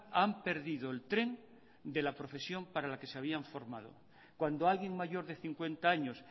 han perdido el tren de la profesión para la que se habían formado cuando alguien mayor de cincuenta años